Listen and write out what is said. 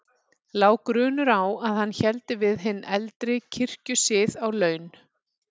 Lá grunur á að hann héldi við hinn eldri kirkjusið á laun.